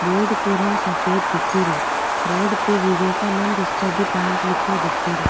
Board को रंग सफ़ेद दिखे रियो बोर्ड पे विवेकानंद स्टडी पॉइंट लिखयो दिखेरो।